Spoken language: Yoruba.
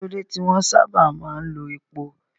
Kí ló dé tí wọ́n sábà máa ń lo epo?